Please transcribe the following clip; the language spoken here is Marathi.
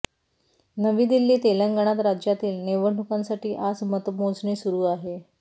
नवी दिल्ली तेलंगणात राज्यातील निवडणुकांसाठी आज मतमोजणी सुरू आहे